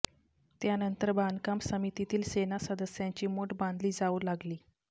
त्यानंतर बांधकाम समितीतील सेना सदस्यांची मोट बांधली जाऊ लागली